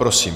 Prosím.